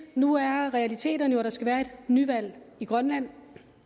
nu er realiteterne jo at der skal være nyvalg i grønland